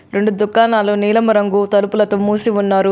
రెండు దుకాణాలు నీలము రంగు తలుపులతో మూసి ఉన్నారు.